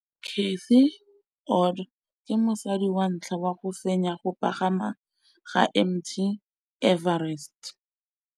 Cathy Odowd ke mosadi wa ntlha wa go fenya go pagama ga Mt Everest.